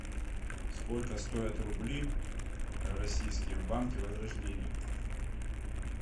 сколько стоят рубли российские в банке возрождение